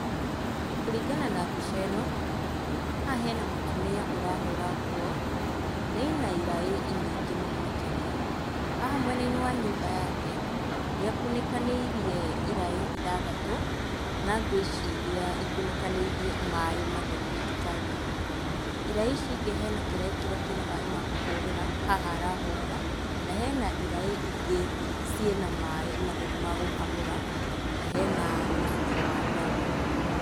Kũringana na mbica ĩno, haha hena mũtumia ũrahũra nguo na ena iraĩ nyingĩ mũno makĩria. Haha mwena-inĩ wa nyũmba yake nĩakunĩkanĩirie iraĩ ithathatũ, na ngwĩciria ikunĩkanĩirie maaĩ matheru matikagĩe gĩko. Iraĩ ici ingĩ hena kĩraĩ kĩrĩa kĩna maaĩ ma kũhũrĩra, haha arahũrĩra na hena iraĩ ingĩ ciĩna maaĩ matheru ma gũkamũra, na hena mũcuba wa down .